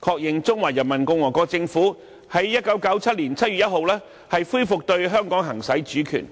確認中華人民共和國政府於1997年7月1日恢復對香港行使主權。